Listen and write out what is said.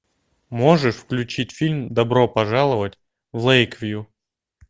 можешь включить фильм добро пожаловать в лэйквью